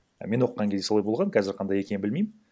мен оқыған кезде солай болған қазір қандай екенің білмеймін